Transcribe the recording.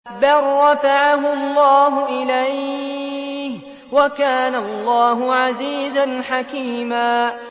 بَل رَّفَعَهُ اللَّهُ إِلَيْهِ ۚ وَكَانَ اللَّهُ عَزِيزًا حَكِيمًا